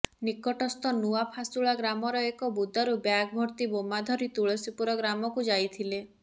ନିକଟସ୍ଥ ନୂଆ ଫାସୁଳା ଗ୍ରାମର ଏକ ବୁଦାରୁ ବ୍ୟାଗଭର୍ତ୍ତି ବୋମା ଧରି ତୁଳସୀପୁର ଗ୍ରାମକୁ ଯାଇଥିଲେ